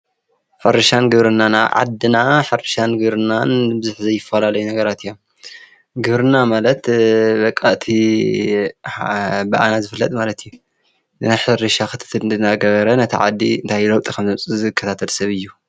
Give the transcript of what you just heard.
ሕርሻን ግብርናን ኣብ ዓድና ብዙሕ ዘይፈላልዩ ነገራት እዮም። ግብርና ማለት በቃ አቲ ብኣና ዝፈለጥ ማለት እቲ ናይ ሕርሻ ክትትል አናገበረ ነቲ ዓዲ እንታይ ለዉጢ ከም ዘምፅእ ዝከታተል ሰብ እዩ።